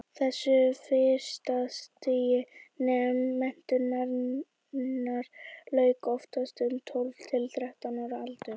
þessu fyrsta stigi menntunarinnar lauk oftast um tólf til þrettán ára aldur